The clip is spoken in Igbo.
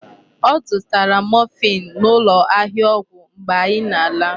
Ọ zụtara morphine n'ụlọ ahịa ọgwụ mgbe anyị na-ala.